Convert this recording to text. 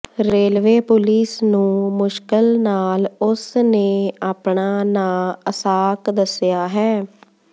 railway police ਨੂੰ ਮੁਸ਼ਕਲ ਨਾਲ ਉਸ ਨੇ ਆਪਣਾ ਨਾਂ ਅਸਾਕ ਦੱਸਿਆ ਹੈ